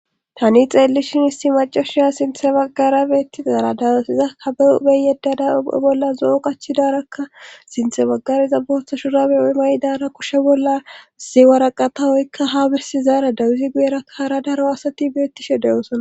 Tani xeellishin isti macashia sinthe baggara beettizaara dawesiza kabe ubey yeddada upe bolla zo"o qachidarakka sinthe bagariza boohta shurabe oy maydara kushe bolla ziwaraqa tawoykka ha birsi zaara dawuzi guyerakkaara daro asati beettishe de7oosana